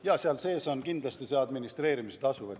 Jaa, seal sees on kindlasti administreerimistasu.